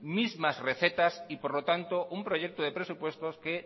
mismas recetas y por lo tanto un proyecto de presupuestos que